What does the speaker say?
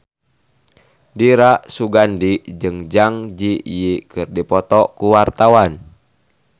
Dira Sugandi jeung Zang Zi Yi keur dipoto ku wartawan